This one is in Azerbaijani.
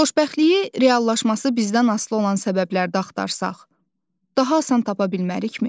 Xoşbəxtliyi reallaşması bizdən asılı olan səbəbdə axtarsaq, daha asan tapa bilmərikmi?